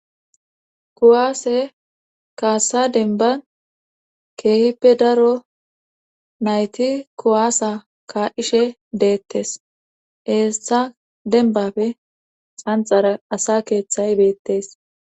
kuwaase kaassa denba keehippe daro nayti kuwaasa ka7ishe deettes eessa denbapfe xanxara asa keeththay beettes